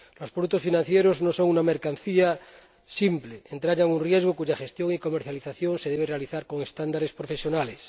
Los productos financieros no son una mercancía simple, entrañan un riesgo cuya gestión y comercialización se debe realizar con estándares profesionales.